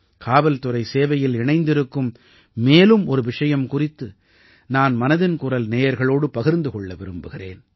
காவல்துறை சேவையில் இணைந்திருக்கும் மேலும் ஒரு விஷயம் குறித்து நான் மனதின் குரல் நேயர்களோடு பகிர்ந்து கொள்ள விரும்புகிறேன்